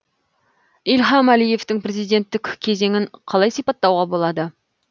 ильхам әлиевтің президенттік кезеңін қалай сипаттуға болады